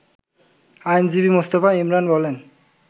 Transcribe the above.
আইনজীবী মোস্তফা ইমরান বলেন